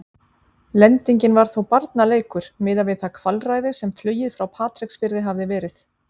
Lendingin var þó barnaleikur miðað við það kvalræði sem flugið frá Patreksfirði hafði verið.